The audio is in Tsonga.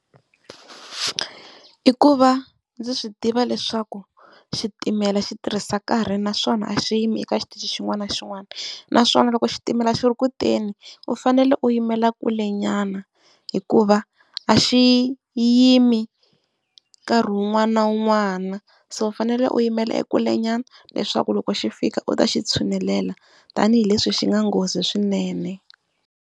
I ku va ndzi swi tiva leswaku xitimela xi tirhisa nkarhi naswona a xi yimi eka xitichi xin'wana na xin'wana, naswona loko xitimela xi ri kuteni u fanele u yimela kulenyana hikuva a xi yimi nkarhi un'wana na un'wana. So u fanele u yimela ekulenyana leswaku loko xi fika u ta xi tshunelela tanihileswi xi nga nghozi swinene.